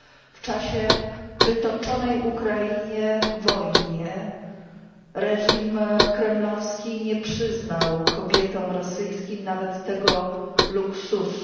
W czasie wytoczonej Ukrainie wojny reżim kremlowski nie przyznał kobietom rosyjskim nawet tego luksusu.